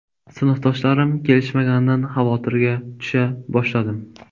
Sinfdoshlarim kelishmaganidan xavotirga tusha boshladim.